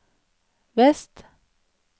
vest